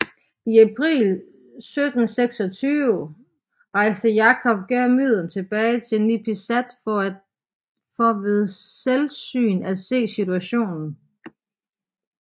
I april 1726 rejste Jacob Geelmuyden tilbage til Nipisat for ved selvsyn at se på situationen